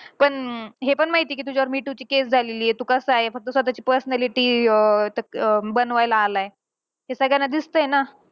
पण हे पण माहितीये कि तुझ्यावर me too ची case झालेलीये. तू कसा आहे. फक्त स्वतःची personality अं अं बनवायला आलाय. हे सगळ्यांना दिसतंय ना.